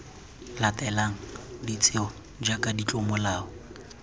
latelang de tsewa jaaka ditlomolao